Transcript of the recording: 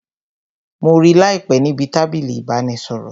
Mo rí láìpé níbi tábìlì ìbánisọ̀rọ̀